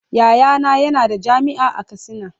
Yayana yana da jami'a a katsina.